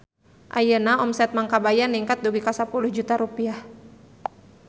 Ayeuna omset Mang Kabayan ningkat dugi ka 10 juta rupiah